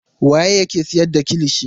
Waye yake siyar da kilishi.